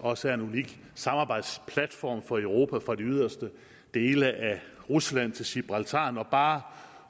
også er en unik samarbejdsplatform for europa fra de yderste dele af rusland til gibraltar når bare